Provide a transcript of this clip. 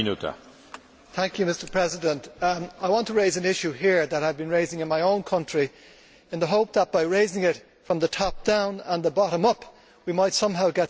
Mr President, I want to raise an issue here that I have been raising in my own country in the hope that, by raising it from the top down and the bottom up, we might somehow get some action on it.